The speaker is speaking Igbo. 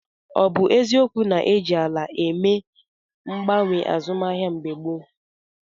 Ọ bụ eziokwu na e ji ala eme mgbanwe azụmahịa mgbe gboo?